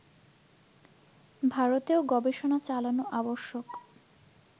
ভারতেও গবেষণা চালান আবশ্যক